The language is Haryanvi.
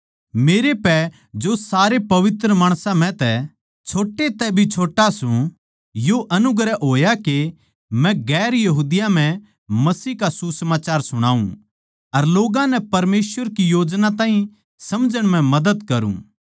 मेरै पै जो सारे पवित्र माणसां म्ह तै छोटे तै भी छोट्टा सू यो अनुग्रह होया के मै दुसरी जात्तां नै मसीह का सुसमाचार सुणाऊँ अर लोग्गां की परमेसवर की योजना ताहीं समझण म्ह मदद करुँ